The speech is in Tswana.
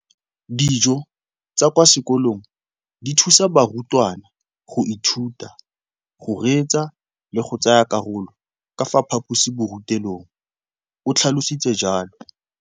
Dijo tsa kwa sekolong dithusa barutwana go ithuta, go reetsa le go tsaya karolo ka fa phaposiborutelong, o tlhalositse jalo.